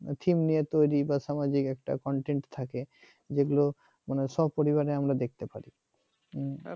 theme নিয়ে তৈরি বা সামাজিক একটা content থাকে যেগুলো মানে সপরিবারে আমরা দেখতে পারি